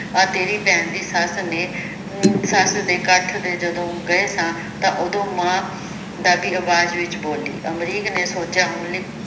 ਆਹ ਤੇਰੀ ਭੈਣ ਦੀ ਸੱਸ ਨੇ ਸੱਸ ਦੇ ਇਕੱਠ ਤੇ ਜਦੋਂ ਗਏ ਸਾਂ ਤਾਂ ਓਦੋਂ ਮਾਂ ਡਰਦੀ ਅਵਾਜ ਵਿਚ ਬੋਲੀ ਅਮਰੀਕ ਨੇ ਸੋਚਿਆ ਹੁਣ ਲਈ